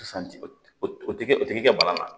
Sisan o tɛ kɛ o ti kɛ bana ye